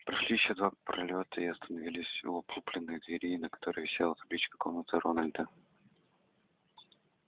прошли ещё два пролёта и остановились у облупленной двери на которой висела табличка комната рональда